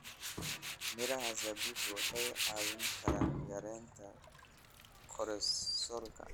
Miraha zabibu waxay caawin karaan yareynta kolesteroolka.